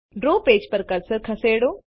draw page પર cursor ખસેડો